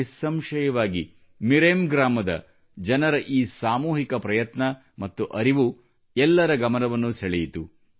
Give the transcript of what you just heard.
ನಿಸ್ಸಂಶಯವಾಗಿ ಮಿರೆಮ್ ಗ್ರಾಮದ ಜನರ ಈ ಸಾಮೂಹಿಕ ಪ್ರಯತ್ನ ಮತ್ತು ಅರಿವು ಎಲ್ಲರ ಗಮನವನ್ನು ಸೆಳೆಯಿತು